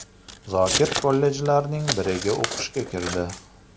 Zokir kollejlarning biriga o‘qishga kirdi.